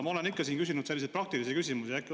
Ma olen siin ikka selliseid praktilisi küsimusi küsinud.